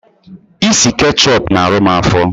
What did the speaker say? Ịsị ketchup na arụ m afo